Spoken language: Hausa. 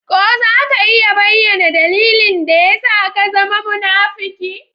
Ko za ka iya bayyana dalilin da ya sa ka zama munafuki?